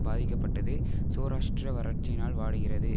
பாதிக்கப்பட்டது சோராஷ்டிரா வறட்சியினால் வாடுகிறது